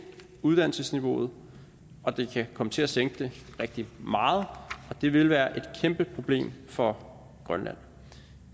uddannelsesniveauet og det kan komme til at sænke det rigtig meget og det vil være et kæmpe problem for grønland